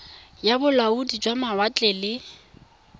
ya bolaodi jwa mawatle le